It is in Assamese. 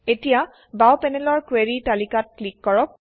এতিয়া বাওঁ পেনেলৰ কুৱেৰি তালিকাত ক্লিক কৰক